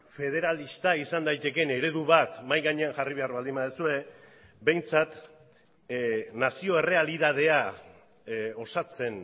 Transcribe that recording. federalista izan daitekeen eredu bat mahai gainean jarri behar baldin baduzue behintzat nazio errealitatea osatzen